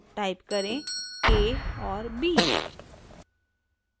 type करें >a और >b